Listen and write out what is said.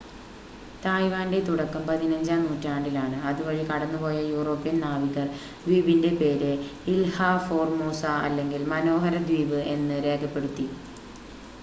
തായ്‌വാൻ്റെ തുടക്കം പതിനഞ്ചാം നൂറ്റാണ്ടിലാണ് അതുവഴി കടന്നുപോയ യൂറോപ്യൻ നാവികർ ദ്വീപിൻ്റെ പേര് ഇൽഹ ഫോർമോസ അല്ലെങ്കിൽ മനോഹര ദ്വീപ് എന്ന് രേഖപ്പെടുത്തി